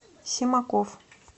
семаков